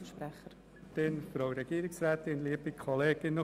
Deshalb lehnen wir diesen Antrag ab.